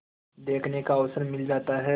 देखने का अवसर मिल जाता है